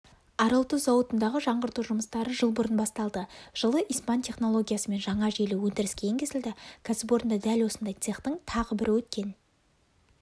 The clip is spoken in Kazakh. аралтұз зауытындағы жаңғырту жұмыстары жыл бұрын басталды жылы испан технологиясымен жаңа желі өндіріске енгізілді кәсіпорында дәл осындай цехтың тағы бірі өткен